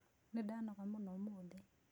Nĩndanoga mũno ũmũthĩ.